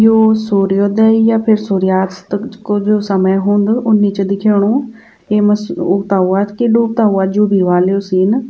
यौ सूर्योदय या फिर सूर्यास्त को जु समय हुंद उन्नी च दिखेंणु येमा स-उगता हुआ कि डूबता हुआ जु भी ह्वाल यू सीन ।